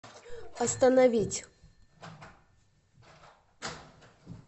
остановить